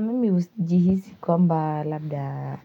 Mimi hujihisi kwamba labda